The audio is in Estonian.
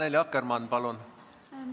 Annely Akkermann, palun!